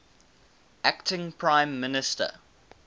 acting prime minister